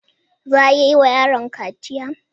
Za a iya yi wa yaron kaciya?